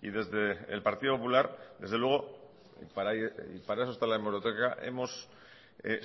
y desde el partido popular desde luego para eso está la hemeroteca hemos